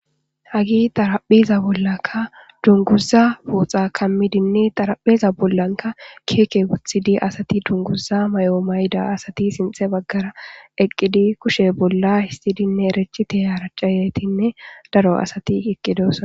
hage xarapheza bollakka dunguza pooxa kammidinni xarapheza bollanka keeke wuthidi asati dunguza may7oo mayda asati sinxe baggara eqqidi kushe bolla histidinne erechite haracayetinne daro asati iqqidosa